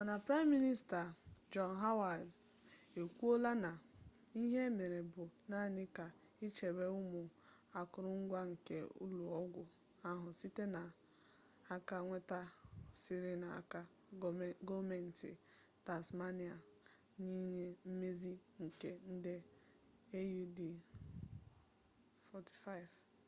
mana prime minista john howard ekwuola na ihe a mere bụ naanị ka ichebe ụmụ akụrụngwa nke ụlọ ọgwụ ahụ site n'aka mwedàta siri n'aka gọọmentị tasmania n'inye mmezi nke nde aud$45